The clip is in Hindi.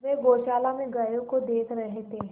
वे गौशाला में गायों को देख रहे थे